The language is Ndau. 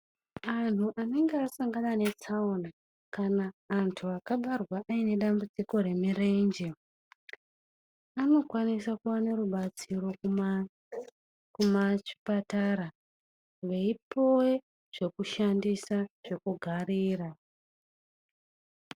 Antu anenge asangana netsaona kana antu akabarwa ane dambudziko remirenje, anokwanisa kuwana rubatsiro kuzvipatara veipuwa zvekushandisa zvekugarira.